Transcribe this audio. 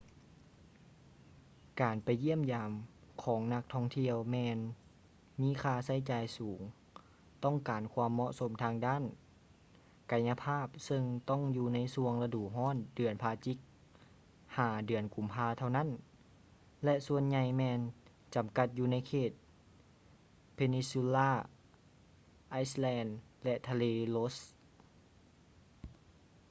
ການໄປຢ້ຽມຢາມຂອງນັກທ່ອງທ່ຽວແມ່ນມີຄ່າໃຊ້ຈ່າຍສູງ ຕ້ອງການຄວາມເໝາະສົມທາງດ້ານກາຍະພາບເຊິ່ງຕ້ອງຢູ່ໃນຊ່ວງລະດູຮ້ອນເດືອນພະຈິກ ຫາ ເດືອນກຸມພາເທົ່ານັ້ນ ແລະ ສ່ວນໃຫຍ່ແມ່ນຈໍາກັດຢູ່ໃນເຂດ peninsula islands ແລະ ທະເລ ross